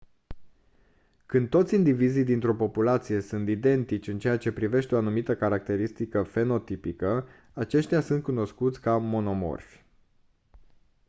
când toți indivizii dintr-o populație sunt identici în ceea ce privește o anumită caracteristică fenotipică aceștia sunt cunoscuți ca monomorfi